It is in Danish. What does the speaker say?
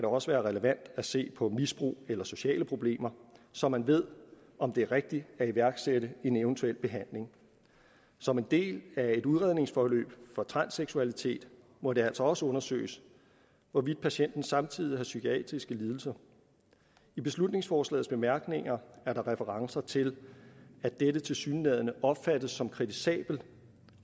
også være relevant at se på misbrug eller sociale problemer så man ved om det er rigtigt at iværksætte en eventuel behandling som en del af et udredningsforløb for transseksualitet må det altså også undersøges hvorvidt patienten samtidig har psykiske lidelser i beslutningsforslagets bemærkninger er der referencer til at dette tilsyneladende opfattes som kritisabelt